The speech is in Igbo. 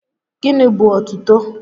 Gịnị bú otuto?